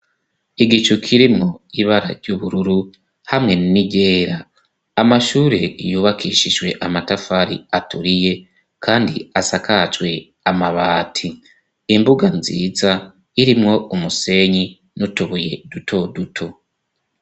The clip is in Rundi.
Igicu kirimwo ibara ry'ubururu hamwe n'iryera, amashure yubakishijwe amatafari aturiye kandi asakajwe amabati, imbuga nziza irimwo umusenyi n'utubuye duto duto.